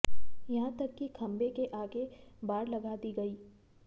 यहां तक कि खम्भे के आगे बाड़ लगा दी गई